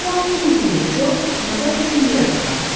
Bu vaxt Keneddi ilə Co məzar üçün yer axtarırdılar.